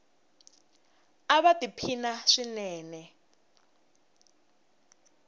ava ti phina swinene